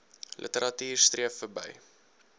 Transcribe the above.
literatuur streef verby